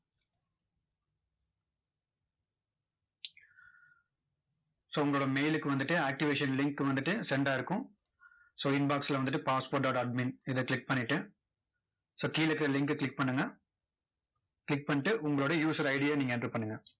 so உங்களோட mail க்கு வந்துட்டு activation link வந்துட்டு send ஆகிருக்கும் so inbox ல வந்துட்டு passport dot admin இதை click பண்ணிட்டு so கீழ இருக்க link அ click பண்ணுங்க. click பண்ணிட்டு, உங்களோட user ID ய நீங்க enter பண்ணுங்க.